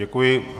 Děkuji.